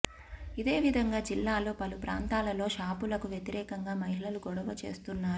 ఇదే విధంగా జిల్లాలో పలు ప్రాంతాలలో షాపులకు వ్యతిరేకంగా మహిళలుగొడవ చేస్తున్నారు